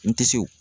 N tisiw